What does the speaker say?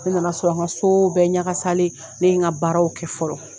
Ne nana sɔrɔ an ka so bɛɛ ɲagakasalen ne ye n ka baaraw kɛ fɔlɔ